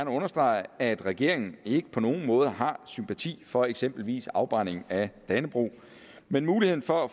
understrege at regeringen ikke på nogen måder har sympati for eksempelvis en afbrænding af dannebrog men muligheden for at